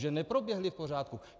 Že neproběhly v pořádku.